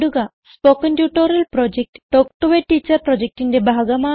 spoken tutorial project talk to a teacher പ്രൊജക്റ്റിന്റെ ഭാഗമാണ്